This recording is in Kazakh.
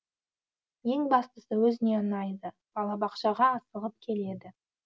ең бастысы өзіне ұнайды балабақшаға асығып келеді